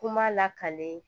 Kuma lakalen